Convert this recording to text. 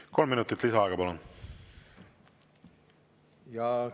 Kolm minutit lisaaega, palun!